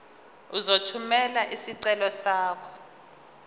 uzothumela isicelo sakho